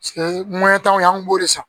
tanw an kun b'o de san